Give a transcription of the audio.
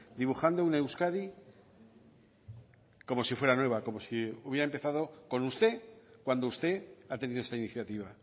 dibujando una euskadi como si fuera nueva como si hubiera empezado con usted cuando usted ha tenido esta iniciativa